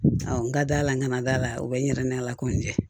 Awɔ n ka dala n kana da la o bɛ n yɛrɛ n' ala ko in cɛ